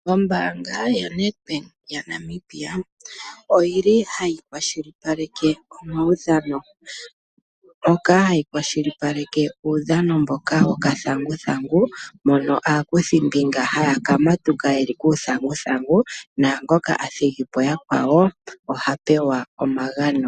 Ombaanga yoNEDBANK yaNamibia oyili hayi kwashilipaleke omaudhano , ndjoka hayi kwashilipaleke uudhano mboka wokathanguthangu mono aakuthimbinga haya ka matuka yeli kuuthanguthangu naangoka a thigi po yakwawo ohapewa omagano